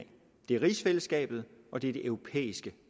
det er rigsfællesskabet og det er det europæiske